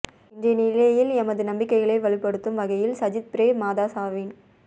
இன்றைய நிலையில் எமது நம்பிக்கைகளை வலுப்படுத்தும் வகைளில் சஜித் பிரே மதாஸாவின்